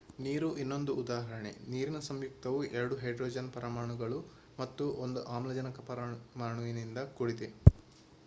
ನೀರು ಇನ್ನೊಂದು ಉದಾಹರಣೆ ನೀರಿನ ಸಂಯುಕ್ತವು ಎರಡು ಹೈಡ್ರೋಜನ್ ಪರಮಾಣುಗಳು ಮತ್ತು ಒಂದು ಆಮ್ಲಜನಕ ಪರಮಾಣುವಿನಿಂದ ಕೂಡಿದೆ